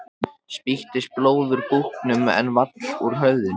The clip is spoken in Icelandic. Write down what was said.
Spýttist blóð úr búknum en vall úr höfðinu.